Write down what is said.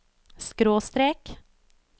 skråstrek